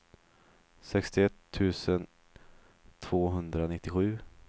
sextioett tusen tvåhundranittiosju